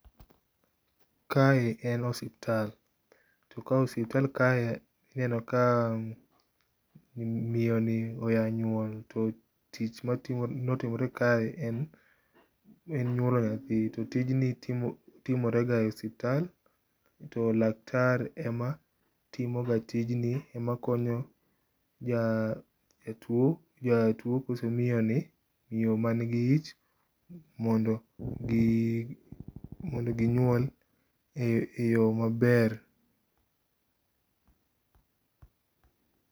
Kae en osiptal, to osiptal kae ineno ka miyoni oya nyuol to tich motimore kae en nyuolo nyathi to tijni timore ga e osiptal to laktar ema timoga tijni ,ema konyo jatuo, jatuo koso miyoni, miyo manigi ich mondo ginyuol e yoo maber